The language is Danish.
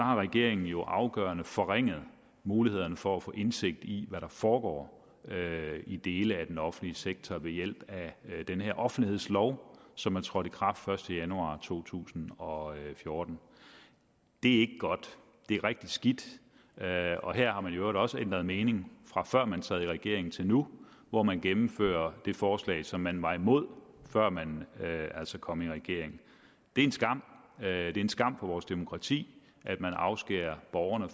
regeringen jo afgørende forringet mulighederne for at få indsigt i hvad der foregår i dele af den offentlige sektor ved hjælp af den her offentlighedslov som er trådt i kraft den første januar to tusind og fjorten det er ikke godt det er rigtig skidt og her har man i øvrigt også ændret mening fra før man sad i regering til nu hvor man gennemfører det forslag som man var imod før man altså kom i regering det er en skam det er en skam for vores demokrati at man afskærer borgerne